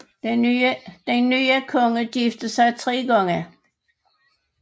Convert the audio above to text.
Den nye konge giftede sig tre gange